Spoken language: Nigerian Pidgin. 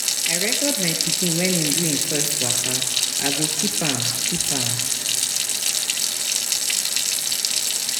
I record my pikin wen im do im first waka, I go keep am. keep am.